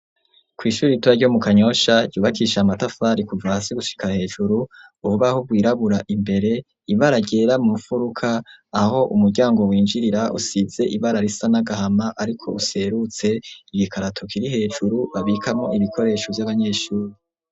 Kw'ishuri ritoyi ryo mu Kanyosha ryubakishije amatafari kuva hasi gushika hejuru, urubaho rwirabura imbere, ibara ryera mu mu mfuruka aho umuryango winjirira usize ibara risa n'agahama ariko userutse, igikarato kiri hejuru babikamwo ibikoresho vy'abanyeshure.